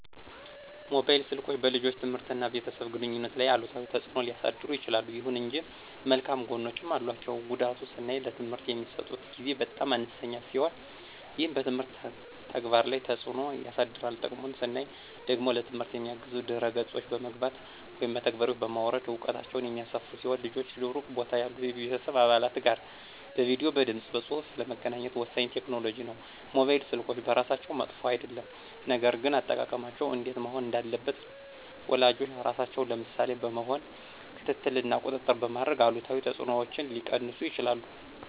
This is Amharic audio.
ሞባይል ስልኮች በልጆች ትምህርት እና በቤተሰብ ግንኙነት ላይ አሉታዊ ተጽዕኖ ሊያሳድሩ ይችላሉ። ይሁን እንጂ መልካም ጎኖችም አሏቸው። ጉዳቱን ስናይ ለትምህርት የሚሰጡት ጊዜ በጣም አነስተኛ ሲሆን ይህም በትምህርት ተግባር ላይ ተጽዕኖ ያሳድራል። ጥቅሙን ስናይ ደግሞ ለትምህርት የሚያግዙ ድህረ ገጾች በመግባት (መተግበሪያዎችን) በማውረድ እውቀታቸውን የሚያሰፉ ሲሆን ልጆች ሩቅ ቦታ ያሉ የቤተሰብ አባላት ጋር በቪዲዬ፣ በድምፅ በፁሁፍ ለመገናኘት ወሳኝ ቴክኖሎጂ ነው። ሞባይል ስልኮች በራሳቸው መጥፎ አይደሉም፣ ነገር ግን አጠቃቀማቸው እንዴት መሆን እንዳለበት ወላጆች ራሳቸው ምሳሌ በመሆን ክትትል እና ቁጥጥር በማድረግ አሉታዊ ተጽዕኖዎችን ሊቀንሱ ይችላሉ።